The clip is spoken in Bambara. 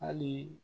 Hali